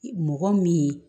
Mɔgɔ min ye